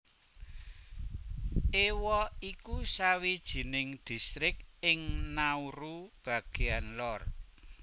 Ewa iku sawijining distrik ing Nauru bagéan lor